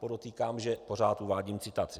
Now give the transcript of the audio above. - Podotýkám, že pořád uvádím citaci.